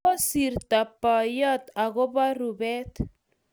Kosirto boyot akobo rupet